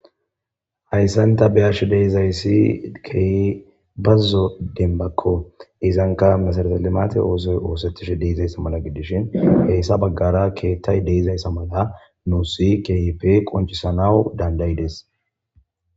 Hayssanta beyash deizayssi kei bazzo denbakko izanka misaretelimate oosoy oosettish deizayssa mala gidishin heessa baggara keettay deizayssa mala nuusi kyipe qoncisanawu dandayides.